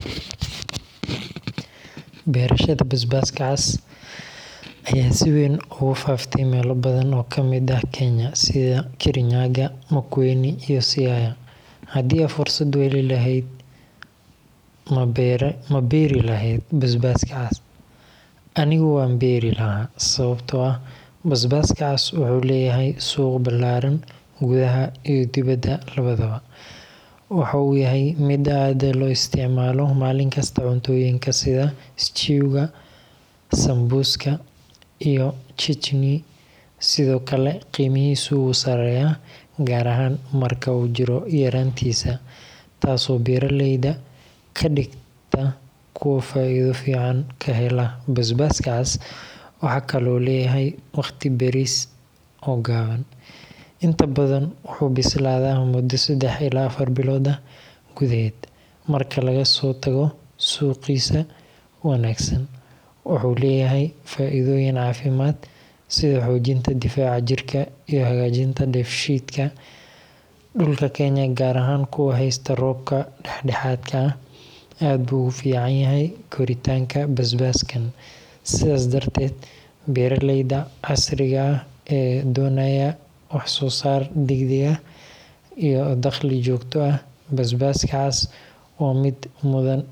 Beerashada basbaska cas ayaa si weyn ugu faaftay meelo badan oo ka mid ah Kenya sida Kirinyaga, Makueni, iyo Siaya. Haddii aad fursad u heli lahayd, ma beeri lahayd basbaska cas? Anigu waan beeri lahaa, sababtoo ah basbaska cas wuxuu leeyahay suuq ballaaran gudaha iyo dibadda labadaba. Waxa uu yahay mid aad loo isticmaalo maalin kasta cuntooyinka sida stew[/s]-ga, sambusa, iyo chutney. Sidoo kale, qiimihiisu wuu sareeyaa gaar ahaan marka uu jiro yaraantiisa, taas oo beeraleyda ka dhigta kuwo faa’iido fiican ka hela. Basbaska cas wuxuu kaloo leeyahay waqti beeris oo gaaban – inta badan wuxuu bislaadaa muddo 3 ilaa 4 bilood ah gudaheed. Marka laga soo tago suuqgiisa wanaagsan, wuxuu leeyahay faa’iidooyin caafimaad sida xoojinta difaaca jirka iyo hagaajinta dheef-shiidka. Dhulka Kenya, gaar ahaan kuwa heysta roobka dhexdhexaadka ah, aad buu ugu fiican yahay koritaanka basbaskan. Sidaas darteed, beeraleyda casriga ah ee doonaya wax soo saar degdeg ah iyo dakhli joogto ah, basbaska cas waa mid mudan in la tixgeliyo.